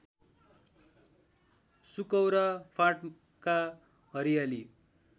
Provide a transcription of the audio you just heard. सुकौरा फाँटका हरियाली